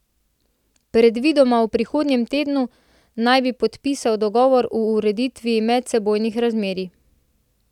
Predvidoma v prihodnjem tednu naj bi podpisal dogovor o ureditvi medsebojnih razmerij.